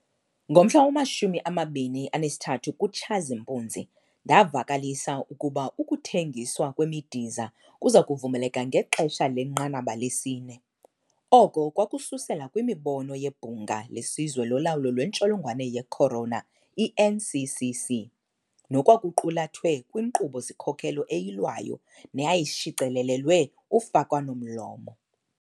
Ngomhla wama-23 kuTshazimpuzi, ndavakalisa ukuba ukuthengiswa kwemidiza kuza kuvumeleka ngexesha lenqanaba lesi-4. Oko kwakususela kwimibono yeBhunga leSizwe loLawulo lweNtsholongwane ye-Corona, i-NCCC, nokwakuqulathwe kwinkqubo-sikhokelo eyilwayo neyayishicilelelwe ufakwano-mlomo.